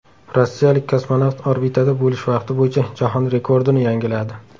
Rossiyalik kosmonavt orbitada bo‘lish vaqti bo‘yicha jahon rekordini yangiladi.